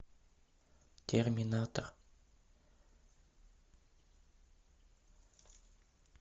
терминатор